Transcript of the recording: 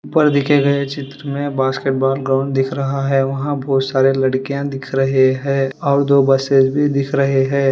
ऊपर दिखे गए चित्र में एक बास्केटबॉल ग्राउंड दिख रहा है वहां बहुत सारी लड़कियां दिख रही हैं और दो बस भी दिख रही है।